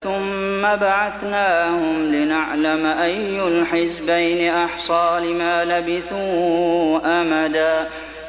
ثُمَّ بَعَثْنَاهُمْ لِنَعْلَمَ أَيُّ الْحِزْبَيْنِ أَحْصَىٰ لِمَا لَبِثُوا أَمَدًا